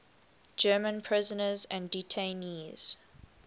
german prisoners and detainees